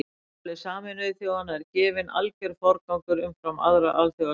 Sáttmála Sameinuðu þjóðanna er gefinn alger forgangur umfram aðra alþjóðasamninga.